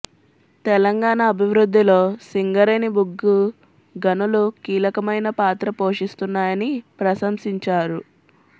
తెలంగాణ అభివృద్ధిలో సింగరేణి బొగ్గు గనులు కీలకమైన పాత్ర పోషిస్తున్నాయని ప్రశంసించారు